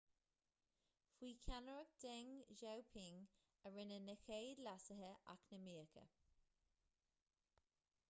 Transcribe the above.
faoi cheannaireacht deng xiaoping a rinneadh na chéad leasuithe eacnamaíocha